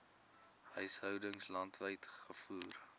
huishoudings landwyd gevoer